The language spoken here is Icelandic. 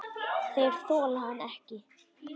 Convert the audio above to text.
Þeir þola hann ekki.